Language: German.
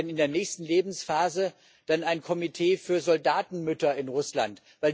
Warum gibt es denn in der nächsten Lebensphase dann ein Komitee für Soldatenmütter in Russland?